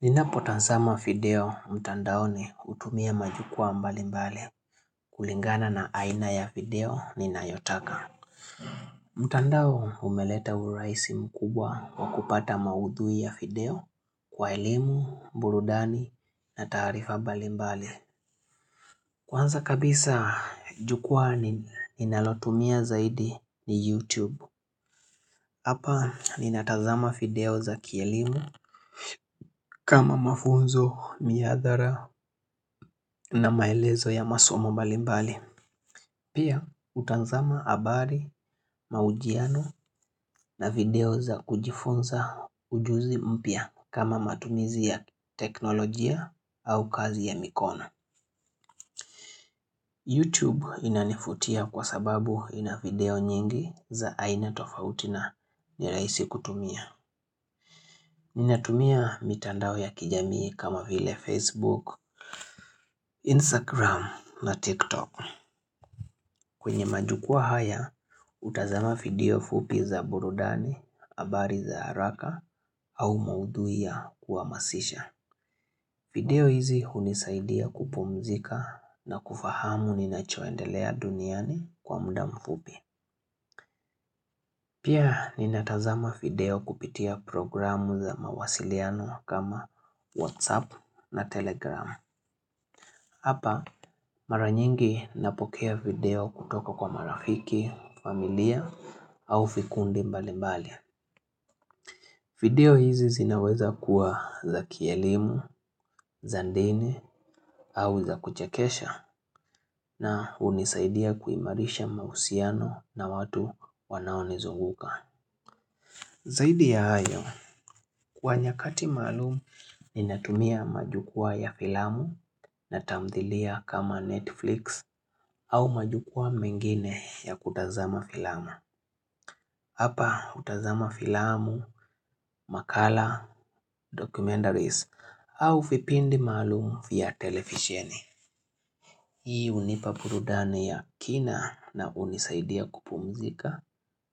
Ninapotazama video mtandaoni hutumia majukwa mbali mbali kulingana na aina ya video ninayotaka. Mtandao umeleta urahisi mkubwa wa kupata maudhui ya video kwa elimu, burudani na taarifa mbali mbali. Kwanza kabisa jukwaa ninalotumia zaidi ni YouTube. Hapa ninatazama video za kielimu kama mafunzo miadhara na maelezo ya masomo mbalimbali. Pia hutazama habari mahojiano na video za kujifunza ujuzi mpya kama matumizi ya teknolojia au kazi ya mikono. YouTube inanivutia kwa sababu ina video nyingi za aina tofauti na nirahisi kutumia. Ninatumia mitandao ya kijamii kama vile Facebook, Instagram na TikTok kwenye majukwaa haya, hutazama video fupi za burudani, habari za haraka au maudhui ya kuhamasisha video hizi hunisaidia kupumzika na kufahamu ninachoendelea duniani kwa muda mfupi Pia ninatazama video kupitia programu za mawasiliano kama WhatsApp na Telegram Hapa mara nyingi napokea video kutoka kwa marafiki, familia au vikundi mbali mbali. Video hizi zinaweza kuwa za kielimu, za dini au za kuchekesha na hunisaidia kuimarisha mahusiano na watu wanaonizunguka. Zaidi ya hayo, kwa nyakati maalumu ninatumia majukwaa ya filamu na tamthilia kama Netflix au majukwaa mengine ya kutazama filamu. Hapa hutazama filamu, makala, documentaries au vipindi maalum vya televisheni. Hii hunipa burudani ya kina na hunisaidia kupumzika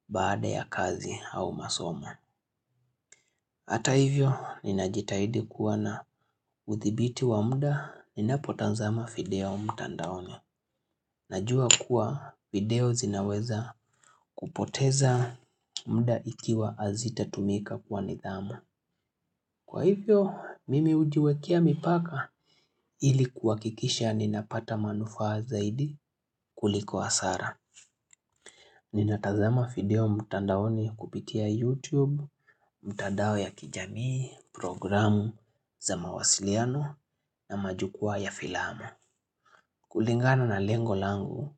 baada ya kazi au masomo. Hata hivyo, ninajitahidi kuwa na uthibiti wa muda ninapotazama video mtandaoni. Najua kuwa video zinaweza kupoteza muda ikiwa hazitatumika kwa nidhamu. Kwa hivyo, mimi hujiwekea mipaka ili kuhakikisha ninapata manufaa zaidi kuliko hasara. Ninatazama video mtandaoni kupitia YouTube, mtandao ya kijamii, programu za mawasiliano na majukwaa ya filamu. Kulingana na lengo langu,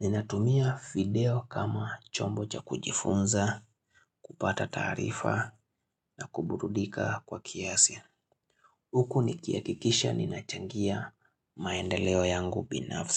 ninatumia video kama chombo cha kujifunza, kupata taarifa na kuburudika kwa kiasi. Huku nikihakikisha ninachangia maendeleo yangu binafsi.